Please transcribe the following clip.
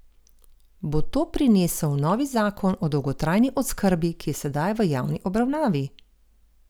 Bo to prinesel novi zakon o dolgotrajni oskrbi, ki je sedaj v javni obravnavi?